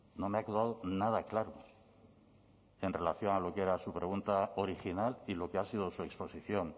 no me ha quedado nada claro en relación a lo que era su pregunta original y lo que ha sido su exposición